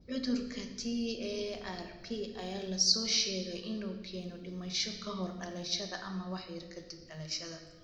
Cudurka TARP ayaa la soo sheegay inuu keeno dhimasho ka hor dhalashada ama wax yar ka dib dhalashada.